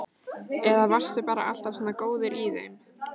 Eða varstu bara alltaf svona góður í þeim?